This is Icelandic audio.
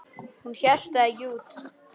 Hún hélt það ekki út!